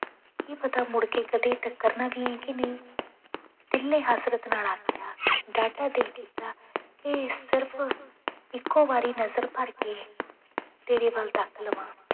ਕੀ ਪਤਾ ਮੁੜਕੇ ਕਦੇ ਟੱਕਰਨਾ ਵੀ ਹੈ ਕਿ ਨਹੀਂ, ਦਿਲ ਨੇ ਹਸਰਤ ਨਾਲ ਆਖਿਆ ਡਾਢਾ ਦਿਲ ਕੀਤਾ ਕਿ ਸਿਰਫ਼ ਇੱਕੋ ਵਾਰੀ ਨਜ਼ਰ ਭਰ ਕੇ ਤੇਰੇ ਵੱਲ ਤੱਕ ਲਵਾਂ।